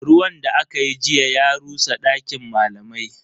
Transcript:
Ruwan da akayi jiya ya rusa dakin malamai.